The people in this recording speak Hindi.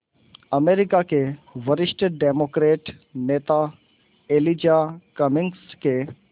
अमरीका के वरिष्ठ डेमोक्रेट नेता एलिजा कमिंग्स के